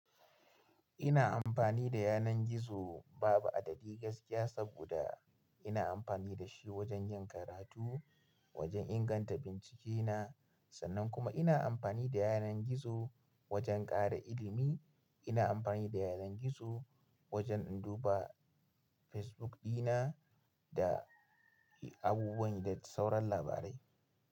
Ina amfani da yanar gizo babu adadi gaskiya saboda ina amfani da shi wajen yin karatu, wajen inganta bincike na, sannan kuma ina amfani da yanar gizo wajen ƙara ilimi. Ina amfani da yanar gizo wajen in duba Facebook dina da abubuwan da sauran labarai.